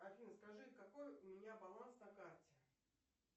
афина скажи какой у меня баланс на карте